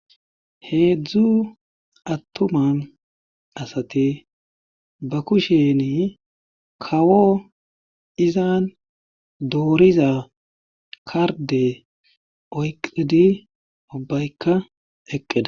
heedzdzu attuman asati ba kusheni kawo izan dooriza karde oyqidi ubbaykka eqqeda